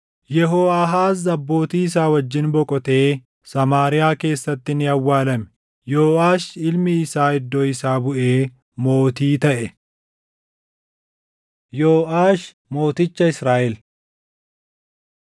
Yehooʼaahaaz abbootii isaa wajjin boqotee Samaariyaa keessatti ni awwaalame. Yooʼaash ilmi isaa iddoo isaa buʼee mootii taʼe. Yooʼaash Mooticha Israaʼel